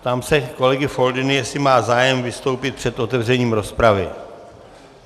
Ptám se kolegy Foldyny, jestli má zájem vystoupit před otevřením rozpravy.